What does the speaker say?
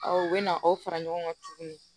u bɛ na aw fara ɲɔgɔn kan tuguni